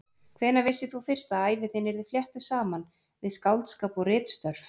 Hvenær vissir þú fyrst að ævi þín yrði fléttuð saman við skáldskap og ritstörf?